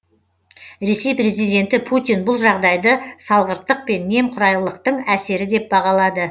ресей президенті путин бұл жағдайды салғырттық пен немқұрайлылықтың әсері деп бағалады